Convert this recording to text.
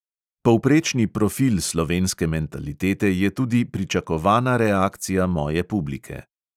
Povprečni profil slovenske mentalitete je tudi pričakovana reakcija moje publike.